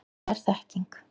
Hvað er þekking?